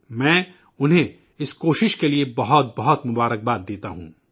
میں انہیں اس کوشش کے لیے بہت بہت نیک خواہشات پیش کرتا ہوں